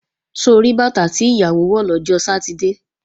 Ṣo rí bàtà tí ìyàwó wọ̀ lọ́jọ́ Sátidé?